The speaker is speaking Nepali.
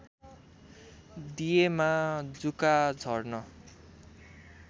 दिएमा जुका झर्न